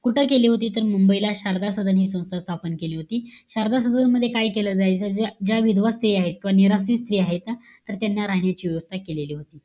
कुठं केली होती? तर, मुंबईला शारदा सदन हि संस्था स्थापन केली होती. शारदा सदन मध्ये काय केलं जायचं? ज्या ज्या विधवा स्त्रिया आहे, किंवा निराश्रित स्त्रिया आहे. तर त्यांना राहण्याची व्यवस्था केलेली होती.